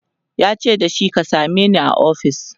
yace da shi " ka sameni a ofis!"